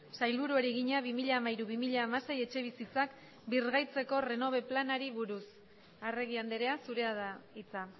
sailburuari egina bi mila hamairu bi mila hamasei etxebizitzak birgaitzeko renove planari buruz arregi andrea zurea da hitza